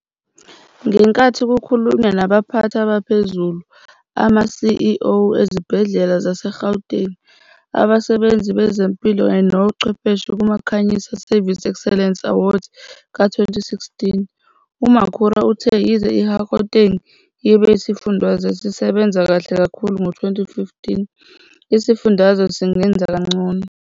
Ngenkathi kukhulunywa nabaphathi abaphezulu, ama-CEO ezibhedlela zaseGauteng, abasebenzi bezempilo kanye nochwepheshe kuma-Khanyisa Service Excellence Awards ka-2016. UMakhura uthe yize iGauteng ibe yisifundazwe esisebenza kahle kakhulu ngo-2015, isifundazwe singenza kangcono.